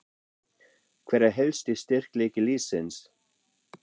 Hver er helsti styrkleiki liðsins?